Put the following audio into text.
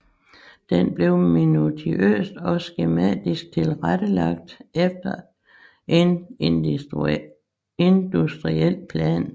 Den blev minutiøst og skematisk tilrettelagt efter en industriel plan